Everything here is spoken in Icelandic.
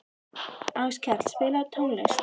Áskell, spilaðu tónlist.